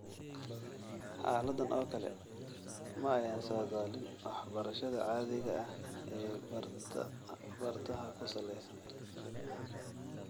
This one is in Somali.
Xaaladdan oo kale ma ayan saadaalin waxbarashada caadiga ah ee bartaha ku salaysan.